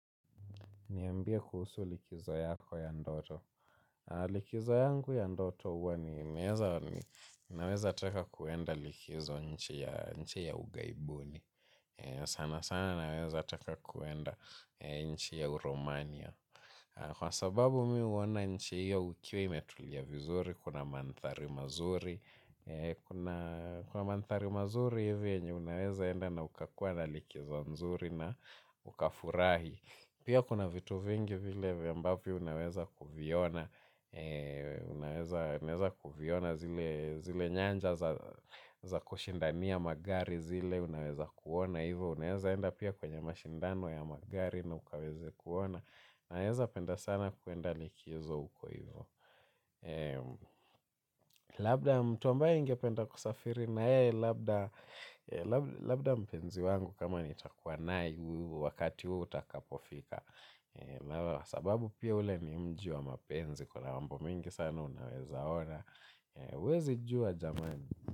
Niambie kuhusu likizo yako ya ndoto. Likizo yangu ya ndoto huwa ni ninaweza taka kuenda likizo nchi ya nchi ya ughaibuni. Sana sana naweza taka kuenda nchi ya uromania. Kwa sababu mi huona nchi hiyo ukiwa imetulia vizuri, kuna mandhari mazuri. Kuna mandhari mazuri hivi yenye unaweza enda na ukakuwa na likizo nzuri na ukafurahi. Pia kuna vitu vingi vile vya ambavyo unaweza kuviona. Unaweza kuviona zile nyanja za kushindania magari zile unaweza kuona hivo unaweza enda pia kwenye mashindano ya magari na ukaweze kuona naweza penda sana kuenda likizo uko hivo. Labda mtu ambaye ningependa kusafiri na yeye labda labda mpenzi wangu kama nitakua naye wakati huo utakapofika. Sababu pia ule ni mji wa mapenzi. Kuna mambo mengi sana unaweza ona, huwezi jua jamani.